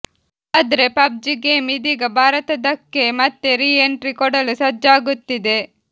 ಆದ್ರೆ PUBG game ಇದೀಗ ಭಾರತದಕ್ಕೆ ಮತ್ತೆ ರೀ ಎಂಟ್ರಿ ಕೊಡಲು ಸಜ್ಜಾಗುತ್ತಿದೆ